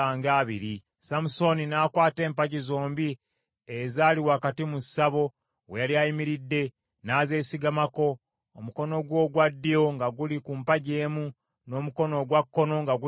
Samusooni n’akwata empagi zombi ezaali wakati mu ssabo we yali ayimiridde, n’azeesigamako, omukono gwe ogwa ddyo nga guli ku mpagi emu, n’omukono ogwa kkono nga guli ku ndala.